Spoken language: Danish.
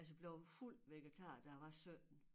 Altså blev fuld vegetar da jeg var 17